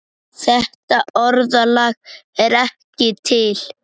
Þetta orðalag er ekki til.